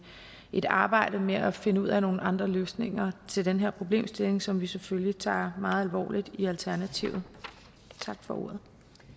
et arbejde med at finde ud af nogle andre løsninger til den her problemstilling som vi selvfølgelig tager meget alvorligt i alternativet tak for ordet